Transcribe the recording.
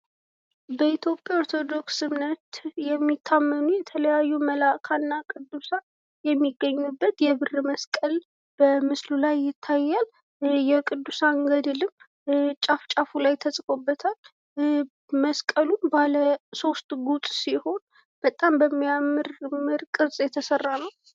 በኢትዮጵያ ኦርቶዶክስ እምነት የሚታመኑ የተለያዩ መልኣካን እና ቅዱሳን የሚገኙበት የብር መስቀል በምስሉ ላይ ይታያል። የቅዱሳን ገድልም ጫፍ ጫፉ ላይ ተጽፎበታል። መስቀሉ ባለ ሶስት ጉጥ ሲሆን በጣም በሚያምር ቅርጽ የተሰራ ነው።